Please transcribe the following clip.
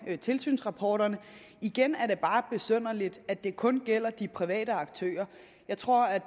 tilsynsrapporter igen er det bare besynderligt at det kun gælder de private aktører jeg tror at